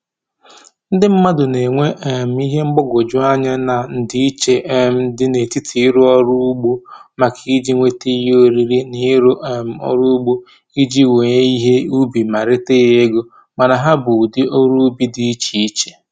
Ndị mmadụ na-enwe um ihe mgbagwoju anya na ndịiche um dị n'etiti ịrụ ọrụ ugbo maka iji nwete ihe oriri na ịrụ um ọrụ ugbo iji wee ihe ubi ma reta ya ego, mana ha bụ ụdị ọrụ ubi dị iche iche